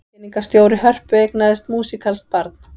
Kynningarstjóri Hörpu eignaðist músíkalskt barn